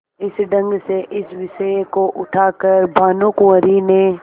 इस ढंग से इस विषय को उठा कर भानुकुँवरि ने